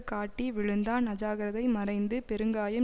காட்டி விழுந்தான் அஜாக்கிரதை மறைந்து பெருங்காயம்